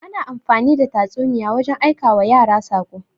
Ana amfani the tatsuniya wajen aikawa yara saƙo.